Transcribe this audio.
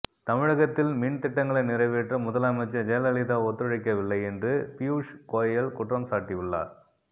தமிழகத்தில் மின் திட்டங்களை நிறைவேற்ற முதலமைச்சர் ஜெயலலிதா ஒத்துழைக்கவில்லை என்று பியூஷ் கோயல் குற்றம்சாட்டியுள்ளார்